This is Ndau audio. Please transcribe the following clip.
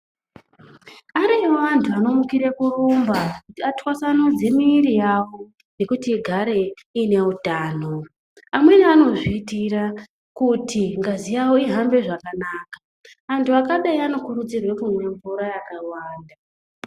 Ariyo antu anomukire kurumba kuti atwasanudze mwiri yavo kuti igare ineutano amweni anozvitira kuti ngazi yawo ihambe zvakanaka antu akadai anokurudzirwa kumwe mvura yakawanda.